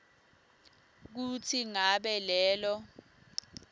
kutsi ngabe lelo